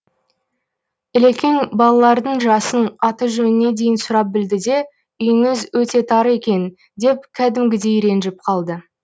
ілекең балалардың жасын аты жөніне дейін сұрап білді де үйіңіз өте тар екен деп кәдімгідей ренжіп қалды